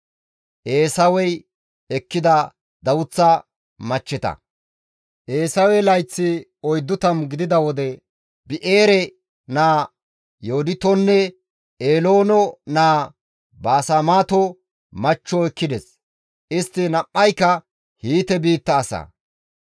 Eesawe layththi 40 gidida wode Bi7eere naa Yooditonne Eeloone naa Baasemaato machcho ekkides; istti nam7ayka Hiite biitta asa.